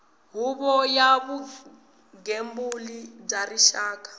huvo ya vugembuli bya rixaka